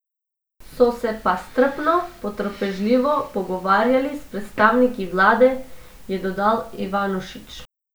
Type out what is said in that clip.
So se pa strpno, potrpežljivo pogovarjali s predstavniki vlade, je dodal Ivanušič.